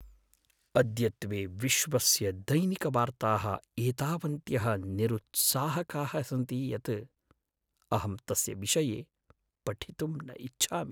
अद्यत्वे विश्वस्य दैनिकवार्ताः एतावन्त्यः निरुत्साहकाः सन्ति यत् अहम् तस्य विषये पठितुं न इच्छामि।